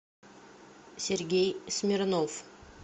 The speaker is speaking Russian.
сергей смирнов